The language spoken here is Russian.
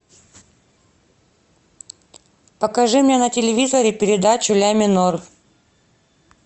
покажи мне на телевизоре передачу ля минор